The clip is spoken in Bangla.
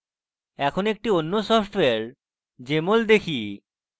এখন একটি অন্য সফটওয়্যার jmol দেখি